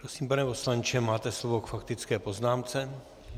Prosím, pane poslanče, máte slovo k faktické poznámce.